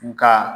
Nka